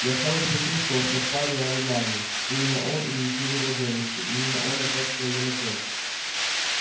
я сразу почувствовал что в паре он главный именно он инициировал девушку именно он натаскивал её на кровь